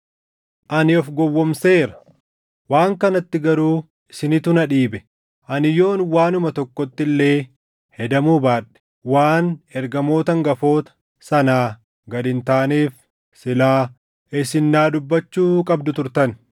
Ani of gowwoomseera; waan kanatti garuu isinitu na dhiibe. Ani yoon waanuma tokkotti illee hedamuu baadhe, waan “Ergamoota hangafoota” sanaa gad hin taaneef silaa isin naa dubbachuu qabdu turtan.